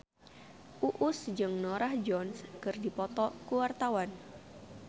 Uus jeung Norah Jones keur dipoto ku wartawan